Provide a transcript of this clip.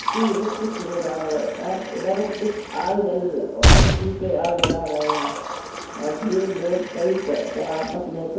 कि इदर कुछ हो रहा है और इदर कुछ आग जल किसी पे आग जला रहे है और यह लोग कई च कई आपस में कुच --